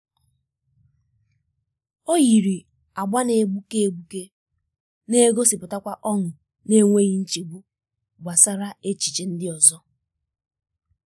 o yiri um agba na-egbuke egbuke um na-egosipụta ọṅụ n'enweghị nchegbu gbasara echiche ndị ọzọ.